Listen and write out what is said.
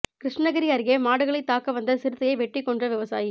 கிருஷ்ணகிரி அருகே மாடுகளைத் தாக்க வந்த சிறுத்தையை வெட்டிக் கொன்ற விவசாயி